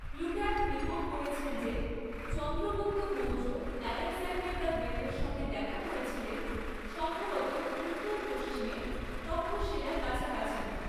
Plutarch report করেছেন যে Chandragupta Maurya Alexander the গ্রেটের সঙ্গে দেখা করেছিলেন, সম্ভবত উত্তর পশ্চিমে তক্ষশীলার কাছাকাছি।